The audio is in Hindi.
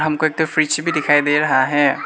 हम को इधर फ्रिज भी दिखाई दे रहा है।